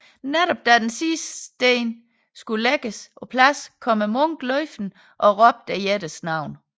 Netop da den sidste sten skulle lægges på plads kom munken løbende og råbte jættens navn